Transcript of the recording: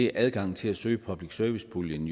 er adgangen til at søge public service puljen